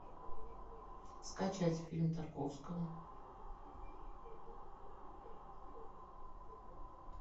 скачать фильм тарковского